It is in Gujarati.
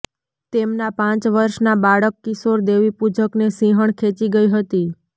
તેમનાં પાંચ વર્ષનાં બાળક કિશોર દેવીપૂજકને સિંહણ ખેંચી ગઈ હતી